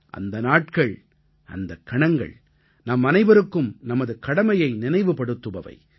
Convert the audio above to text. அந்த நாட்கள் அந்தக் கணங்கள் நம்மனைவருக்கும் நமது கடமையை நினைவுபடுத்துபவை